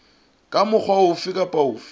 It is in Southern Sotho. ka mokgwa ofe kapa ofe